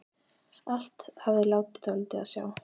Allt hafði látið dálítið á sjá.